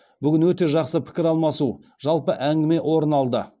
бүгін өте жақсы пікір алмасу жалпы әңгіме орын алды